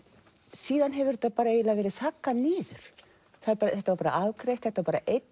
síðan hefur þetta eiginlega verið þaggað niður þetta var afgreitt þetta var bara einn